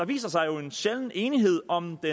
viser sig jo en sjælden enighed om det